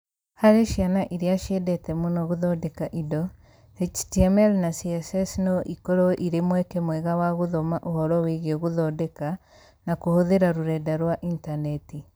Harĩ ciana iria ciendete mũno gũthondeka indo, HTML na CSS no ikorũo irĩ mweke mwega wa gũthoma ũhoro wĩgiĩ gũthondeka na kũhũthĩra rũrenda rwa intaneti